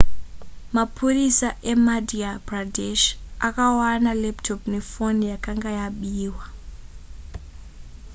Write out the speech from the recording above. mapurisa emadhya pradesh akawana laptop nefoni yakanga yabiwa